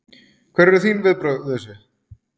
Hver eru þín viðbrögð við þessu?